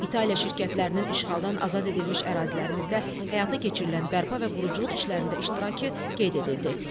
İtaliya şirkətlərinin işğaldan azad edilmiş ərazilərimizdə həyata keçirilən bərpa və quruculuq işlərində iştirakı qeyd edildi.